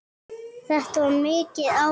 Þetta var mikið álag.